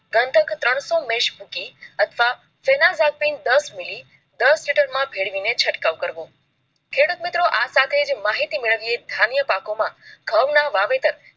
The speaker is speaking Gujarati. ત્રણસો મેષ મૂકીને અથવા ફેનાકપિલ દસમીલી ભેળવી ને ચટકાવ કરવો ખેડૂત મિત્રો આ સાથે માહિતી મેળવીયે ધ્યાન પાકો માં ઘઉં ના વાવેતર